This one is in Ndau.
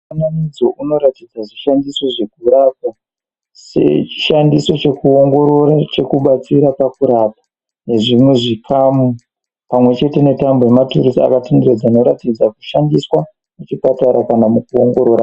Mufananidzo unoratidza zvishandiso zvekurapa sechishandiso chekuongorora chekubatsira pakurapa nezvimwe zvikamu. Pamwechete netambo yema...akatenderera anoratidza kushandiswa mukurapa kana mukuongorora.